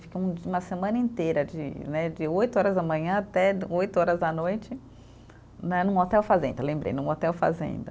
Ficamos um uma semana inteira, de né , de oito horas da manhã até oito horas da noite, né num hotel fazenda, lembrei, num hotel fazenda.